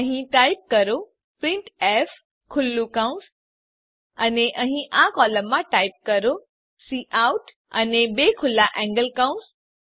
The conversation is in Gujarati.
અહીં ટાઈપ કરો પ્રિન્ટફ ખુલ્લું કૌંસ અને અહીં આ કોલમમાં ટાઈપ કરો કાઉટ અને બે ખુલ્લા એન્ગલ કૌંસ